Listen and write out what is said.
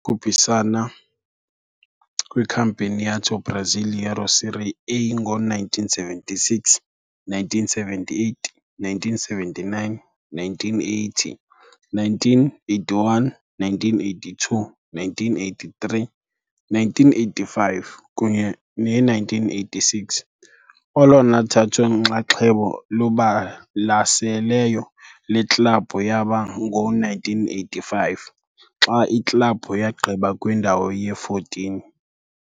khuphisana kwiCampeonato Brasileiro Série A ngo-1976, 1978, 1979, 1980, 1981, 1982, 1983, 1985, kunye ne1986. Olona thatho-nxaxheba lubalaseleyo lweklabhu yaba ngo-1985, xa iklabhu yagqiba kwindawo ye-14.